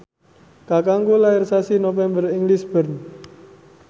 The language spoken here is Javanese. kakangku lair sasi November ing Lisburn